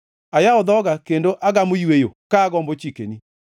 Ayawo dhoga kendo agamo yweyo, ka agombo chikeni.